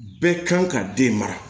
Bɛɛ kan ka den mara